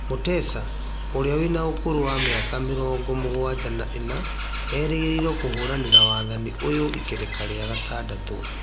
Mutesa na ũrĩa wĩna ũkũrũ wa mĩaka mĩrongo mũgwanja na ĩna, erĩgĩrĩirwo kũhũranĩra wathani ũyũ ikereka rĩa gatandatũ